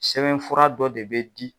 Sɛbɛn fura dɔ de bɛ di.